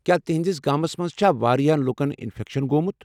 کیٛاہ تہنٛدس گامس منٛز چھا واریاہ لوٗکن انفیکشن گوٚومُت؟